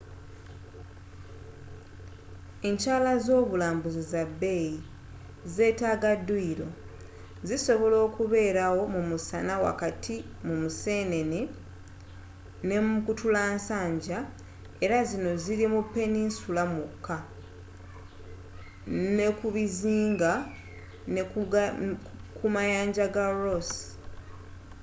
enkyala zobulambuzi za bbeeyi zetaaga duyilo zisobola okubeerawo mumusana wakati wa museenene ne mukutulassanja era zino ziri mu peninsula mwokka nekubuzinga nekumayanja ga ross